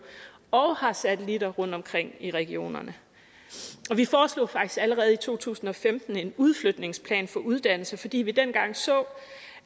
og har satelitter rundtomkring i regionerne vi foreslog faktisk allerede i to tusind og femten en udflytningsplan for uddannelse fordi vi dengang så